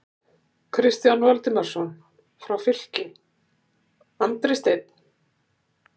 Kristján Valdimarsson frá Fylki, Andri Steinn???